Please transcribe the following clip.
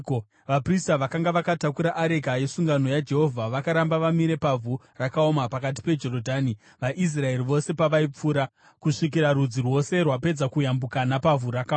Vaprista vakanga vakatakura areka yesungano yaJehovha vakaramba vamire pavhu rakaoma pakati peJorodhani, vaIsraeri vose pavaipfuura, kusvikira rudzi rwose rwapedza kuyambuka napavhu rakaoma.